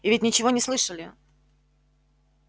и ведь ничего не слышали